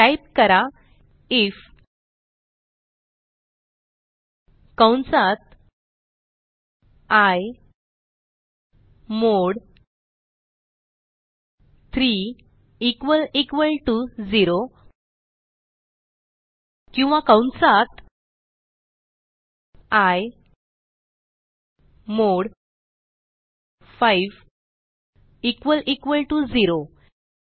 type करा IF कंसात I mod 3 equal equal to 0 किंवा कंसात I mod 5 equal equal to 0